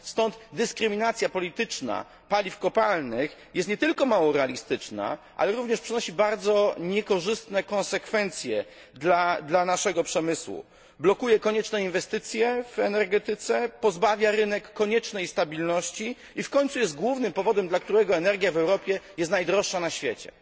Stąd dyskryminacja polityczna paliw kopalnych jest nie tylko mało realistyczna, ale również przynosi bardzo niekorzystne konsekwencje dla naszego przemysłu, blokuje konieczne inwestycje w energetyce, pozbawia rynek koniecznej stabilności i w końcu jest głównym powodem, dla którego energia w Europie jest najdroższa na świecie.